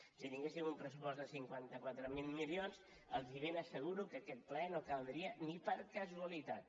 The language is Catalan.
si tinguéssim un pressupost de cinquanta quatre mil milions els ben asseguro que aquest ple no caldria ni per casualitat